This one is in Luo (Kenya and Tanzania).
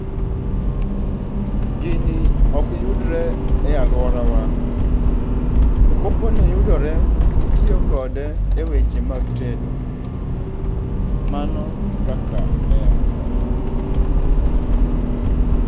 Gini okyudre e alworawa, to koponi oyudore titiyo kode e weche mag tedo. Mano ekaka en.